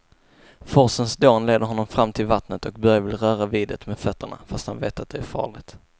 Forsens dån leder honom fram till vattnet och Börje vill röra vid det med fötterna, fast han vet att det är farligt.